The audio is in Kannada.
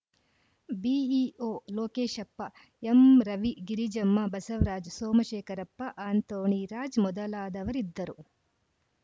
BEO Lokeshappa M Ravi Girijamma Basavaraj Somashekharappa Anthony Raj ಮೊದಲಾದವರಿದ್ದರು